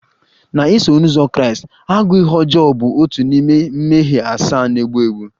Na Iso uzọ Kraịst, agụụ ihe ọjọọ bụ otu n'ime mmehie asaa na-egbu egbu